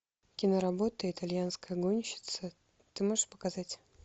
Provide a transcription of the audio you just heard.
киноработа итальянская гонщица ты можешь показать